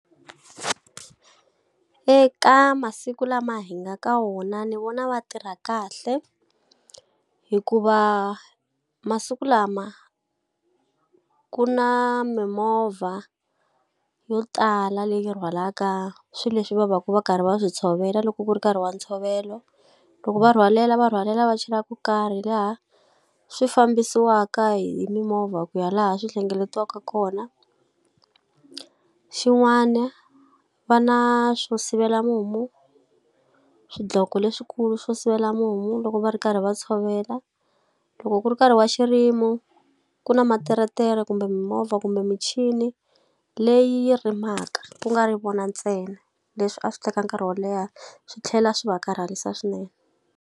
Eka masiku lama hi nga ka wona ni vona va tirha kahle, hikuva masiku lama ku na mimovha yo tala leyi rhwalaka swilo leswi va va ka va karhi va swi tshovela loko ku ri nkarhi wa ntshovelo. Loko va rhwalela va rhwalela va chela ko karhi laha swi fambisiwaka hi mimovha ku ya laha swi hlengeletiwaka kona. Xin'wana va na swo sivela mumu, swidloko leswikulu xo sivela mumu loko va ri karhi va tshovela. Loko ku ri nkarhi wa xirimo, ku na materetere kumbe mimovha kumbe michini leyi rimaka ku nga ri vona ntsena. Leswi a swi teka nkarhi wo leha swi tlhela swi va karhalisa swinene.